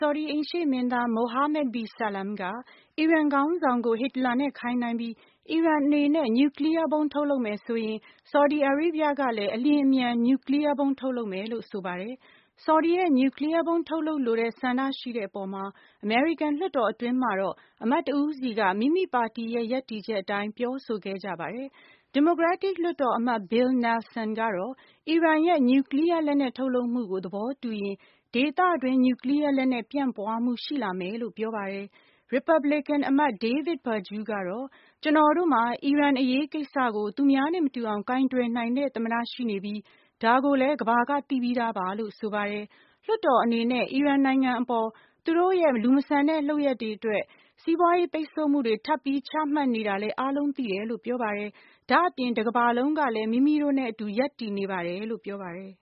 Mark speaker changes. Speaker 1: ဆော်ဒီအိမ်ရှေ့မင်းသား Mohammed bi Salman က အီရန်ခေါင်းဆောင် ကို ဟစ်တလာနဲ့ခိုင်းနှိုင်းပြီး အီရန်အနေနဲ့ နျူကလီးယားဗုံး ထုတ်လုပ်မယ်ဆိုရင် ဆော်ဒီအာရေးဗျကလည်း အလျင်အမြန် နျူကလီးယားဗုံး ထုတ်လုပ်မယ်လို့ ဆိုပါတယ်၊၊ ဆော်ဒီရဲ့ နျူကလီးယားဗုံး ထုပ်လုပ်လိုတဲ့ဆန္ဒရှိတဲ့ အပေါ်မှာ အမေရိကန်လွှတ်တော် အတွင်းမှာ တော့ အမတ် တဦးစီက မိမိပါတီရဲ့ ရပ်တည်ချက်အတိုင်း ပြောဆိုခဲ့ကြပါတယ်၊၊ ဒီမိုကရက်တစ်လွှတ်တော်အမတ် Bill Nelson ကတော့အီရန်ရဲ့ နျူကလီးယား လက်နက်ထုတ်လုပ်မှုကို သဘောတူရင် ဒေသတွင်းနျူကလီးယား လက်နက်ပြန့်ပွါးမှုရှိ လာမယ်လို့ ပြောပါတယ်၊၊ ရီပတ်ဘလေကန်အမတ် David Perdue ကတော့ ကျွန်တော်တို့မှာ အီရန်အရေးကိစ္စကို သူများနဲ့ မတူအောင် ကိုင်တွယ် နိုင်တဲ့ သမ္မတ ရှိနေပြီး ဒါကိုလည်း ကမ္ဘာက သိပြီးသားပါ လို့ဆိုပါတယ်၊၊ လွှတ်တော် အနေနဲ့ အီရန်နိုင်ငံအပေါ်သူတို့ရဲ့ လူမဆန်တဲ့ လုပ်ရပ်တွေ အတွက် စီးပွါးရေးပိတ်ဆို့မှုတွေထပ်ပြီး ချမှတ်နေတာလည်းအားလုံးသိတယ်လို့ ပြောပါတယ်၊၊ ဒါ့အပြင် တကမ္ဘာလုံးကလည်း မိမိတို့နဲ့ အတူရပ်တည်နေ ပါတယ်
Speaker 2: လို့ပြောပါတယ်